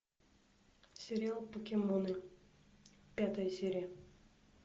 сериал покемоны пятая серия